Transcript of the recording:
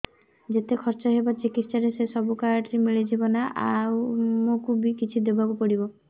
ଯେତେ ଖର୍ଚ ହେବ ଚିକିତ୍ସା ରେ ସବୁ କାର୍ଡ ରେ ମିଳିଯିବ ନା ଆମକୁ ବି କିଛି ଦବାକୁ ପଡିବ